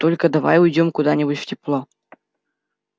только давай уйдём куда нибудь в тепло